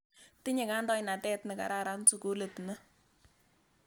Tinye kandoinatet ne kararan sukulit ni.